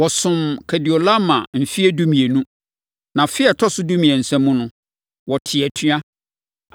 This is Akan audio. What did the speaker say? Wɔsomm Kedorlaomer mfeɛ dumienu, na afe a ɛtɔ so dumiɛnsa mu no, wɔtee atua.